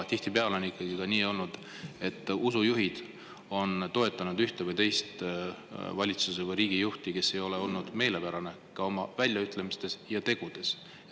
Tihtipeale on ka nii olnud, et usujuhid on toetanud ühte või teist valitsus- või riigijuhti, kes ei ole neile oma väljaütlemistes ja tegudes meelepärane olnud.